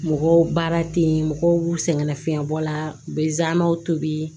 Mɔgɔw baara ten mɔgɔw b'u sɛgɛnna fiɲɛ bɔ la u bɛ zanw tobi